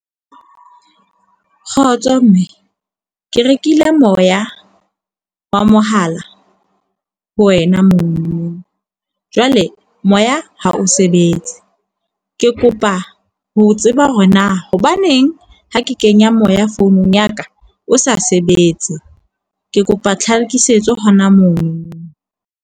Kgotso, mme. Ke rekile moya wa mohala ho wena moo, jwale moya ha o se be etse. Ke kopa ho tseba hore na hobaneng ha ke kenya moya founung ya ka o sa sebetse. Ke kopa tlhakisetso hona monono.